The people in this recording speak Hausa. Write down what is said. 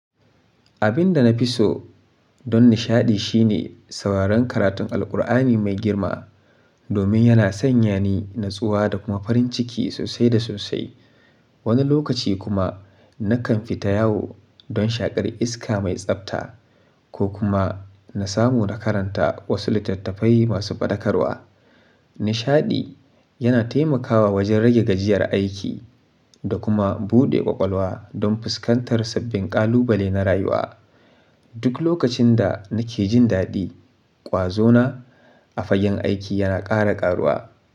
Abin da na fi so don nishaɗi shine sauraron karatun Alqur'ani mai girma domin yana sanya ni natsuwa da kuma farin ciki sosai da sosai. Wani lokaci kuma nakan fita yawo don shaƙar iska mai tsafta ko kuma na samu na karanta wasu littattafai masu faɗakarwa. Nishaɗi yana taimakawa wajen rage gajiyar aiki da kuma buɗe ƙwaƙwalwa don fuskantar sabbin ƙalubale na rayuwa. Duk lokacin da nake jin daɗi, ƙwazo na a fagen aiki yana ƙara ƙaruwa.